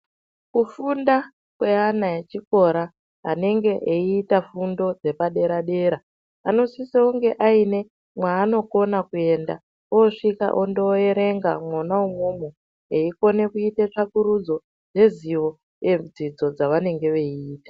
Kufunda kweana echikora anenge eita fundo dzepaderadera anosise kunge aine mwaanokona kuenda. Osvika ondoerenga mwona umomo eikone kuite tsvakurudzo yeziyo yedzidzo dzavanenge veita.